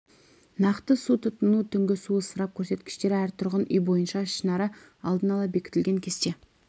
нақты су тұтыну түнгі су ысырап көрсеткіштері әр тұрғын үй бойынша ішінара алдын ала бекітілген кесте